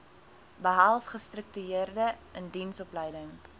behels gestruktureerde indiensopleiding